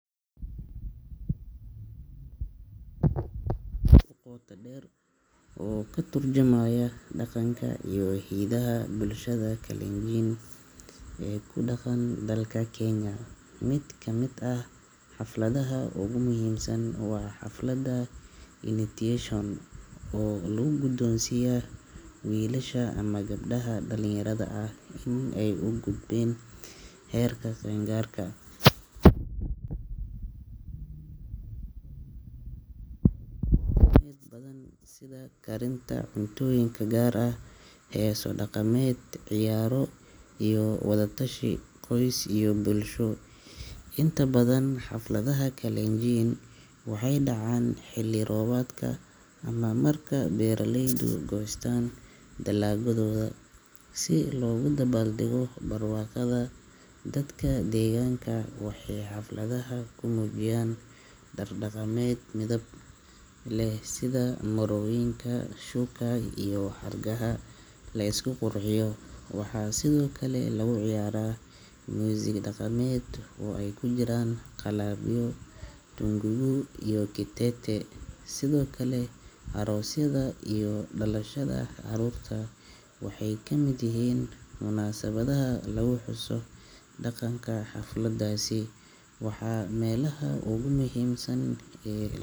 Xafladaha Kalenjin waa kuwo aad u qoto dheer oo ka tarjumaya dhaqanka iyo hidaha bulshada Kalenjin ee ku dhaqan dalka Kenya. Mid ka mid ah xafladaha ugu muhiimsan waa xafladda initiation oo lagu gudoonsiiyaa wiilasha ama gabdhaha dhalinyarada ah in ay u gudbeen heerka qaangaarka. Xafladani waxay ka kooban tahay hawlo dhaqameed badan sida karinta cuntooyin gaar ah, heeso dhaqameed, ciyaaro iyo wadatashi qoys iyo bulsho. Inta badan, xafladaha Kalenjin waxay dhacaan xilli-roobaadka ama marka beeralaydu goostaan dalaggooda, si loogu dabaaldego barwaaqada. Dadka deegaanka waxay xafladaha ku muujiyaan dhar dhaqameed midab leh, sida marooyinka shuk.a iyo xargaha la isku qurxiyo. Waxaa sidoo kale lagu ciyaaraa muusig dhaqameed oo ay ku jiraan qalabyo sida tung'ung'u iyo kitete. Sidoo kale, aroosyada iyo dhalashada carruurta waxay ka mid yihiin munaasabadaha lagu xuso dhaqanka. Xafladahaasi waa meelaha ugu muhiimsan ee.